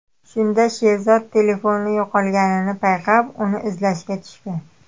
Shunda Sherzod telefoni yo‘qolganini payqab, uni izlashga tushgan.